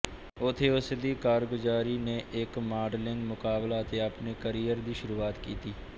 ਉੱਥੇ ਉਸ ਦੀ ਕਾਰਗੁਜ਼ਾਰੀ ਨੇ ਇੱਕ ਮਾਡਲਿੰਗ ਮੁਕਾਬਲਾ ਅਤੇ ਆਪਣੇ ਕਰੀਅਰ ਦੀ ਸ਼ੁਰੂਆਤ ਕੀਤੀ